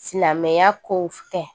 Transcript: Silamɛya kow fɛ